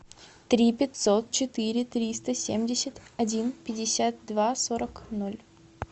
три пятьсот четыре триста семьдесят один пятьдесят два сорок ноль